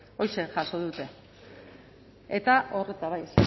horixe jaso dute eta hor eta bai